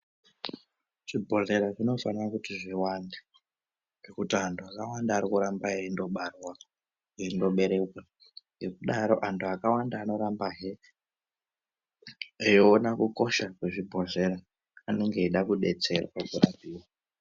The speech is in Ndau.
Zvibhodhlera zvinofanira kuti zviwande ngokuti antu akawanda ari kuramba eindobarwa eindoberekwa ngekudaro antu akawanda anorambahe eiona kukosha kwezvibhodhlera anenge eida kudetserwa kurapiwa.